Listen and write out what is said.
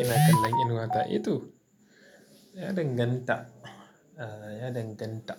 Ina kallon inuwa ta? Eh toh, ya danganta, ah ya danganta.